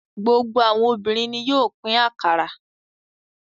Gbogbo àwọn obìnrin ni yóò pín akara.